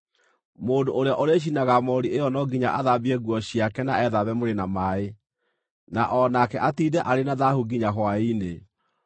Mũndũ ũrĩa ũrĩcinaga moori ĩyo no nginya athambie nguo ciake na ethambe mwĩrĩ na maaĩ, na o nake atiinde arĩ na thaahu nginya hwaĩ-inĩ.